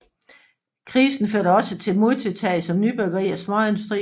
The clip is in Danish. Krisen førte også til modtiltag som nybyggeri og småindustri